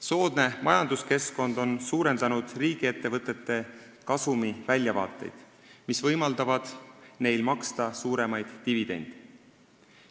Soodne majanduskeskkond on suurendanud riigiettevõtete kasumiväljavaateid, mis võimaldavad neil maksta suuremaid dividende.